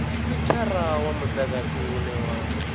mithara wa mudagasi une wa